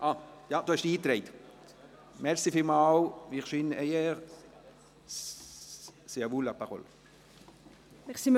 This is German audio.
Ach so, Sie haben sich schon eingetragen, vielen Dank.